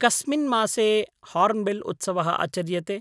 कस्मिन् मासे हार्न्बिल्उत्सवः आचर्यते?